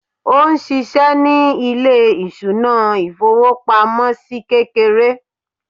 òun sìsé ní ilé ìṣúná ifowopamọsí kékeré